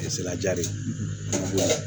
ja de ye